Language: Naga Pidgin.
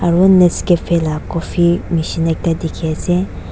aru nescafe la coffee nishina ekta dikhi ase.